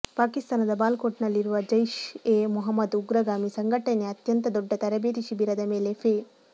ಪಾಕಿಸ್ತಾನದ ಬಾಲಾಕೋಟ್ನಲ್ಲಿರುವ ಜೈಷ್ ಎ ಮೊಹಮ್ಮದ್ ಉಗ್ರಗಾಮಿ ಸಂಘಟನೆಯ ಅತ್ಯಂತ ದೊಡ್ಡ ತರಬೇತಿ ಶಿಬಿರದ ಮೇಲೆ ಫೆ